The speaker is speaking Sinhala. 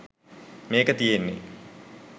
මේක තියන්නෙ.